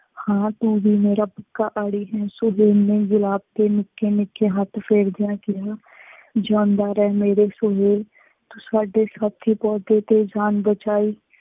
ਹਾਂ ਤੂੰ ਵੀ ਮੇਰਾ ਪੱਕਾ ਆੜੀ ਹੈ। ਸੁਹੇਲ ਨੇ ਗੁਲਾਬ ਤੇ ਨਿੱਕੇ ਨਿੱਕੇ ਹੱਥ ਫੇਰਦਿਆਂ ਕਿਹਾ, ਜਿਉਂਦਾ ਰਹਿ ਮੇਰੇ ਸੁਹੇਲ, ਤੂੰ ਸਾਡੇ ਸਾਥੀ ਪੌਦੇ ਦੀ ਜਾਨ ਬਚਾਈ।